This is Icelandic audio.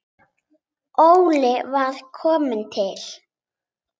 Óli var sko til.